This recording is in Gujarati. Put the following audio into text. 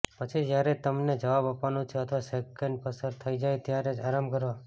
પછી જ્યારે તમને જવાબ આપવાનું છે અથવા સેકંડ પસાર થઈ જાય ત્યારે આરામ કરો